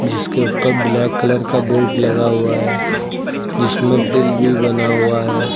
जिसके ऊपर black colour का बोर्ड लगा हुआ है जिसमे दिल भी बना हुआ है।